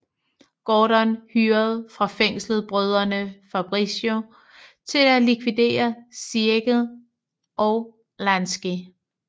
Gordon hyrede fra fængslet brødrene Fabrizzo til at likvidere Siegel og Lansky